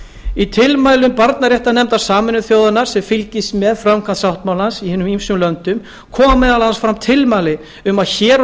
í tilmælum barnaréttarnefndar sameinuðu þjóðanna sem fylgist með framkvæmd sáttmálans í hinum ýmsu löndum koma meðal annars fram tilmæli um að hér á